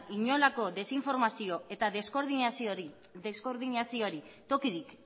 inolako desinformazio eta deskoordinazioari tokirik